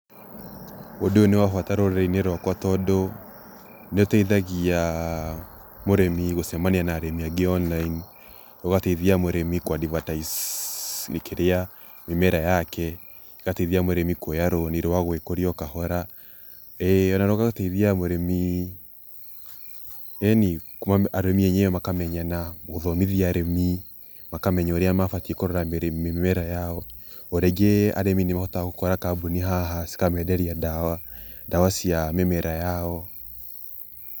Ũndũ ũyũ nĩ wa bata rũrĩrĩ-inĩ rwakwa tondũ nĩ ũteithagia mũrĩmi gũcemania na arĩmi angĩ online. ũgateithia mũrĩmi kũ advertise kĩrĩa mĩmera yake, ũgateithia mũrĩmi kũoya rũni rwa gwĩkũria o kahora, ĩĩ ona rũgateithia mũrĩmi, ĩni arĩmi enyewe makamenyana, gũthomithia arĩmi, makamenya ũrĩa mabatiĩ kũrora mĩmera yao. Orĩngĩ arĩmi nĩ ũhotaga gũkora kambuni haha na cikamenderia ndawa, ndawa cia mĩmera yao.